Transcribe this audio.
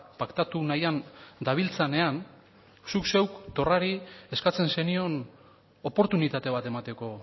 paktatu nahian dabiltzanean zuk zeuk torrari eskatzen zenion oportunitate bat emateko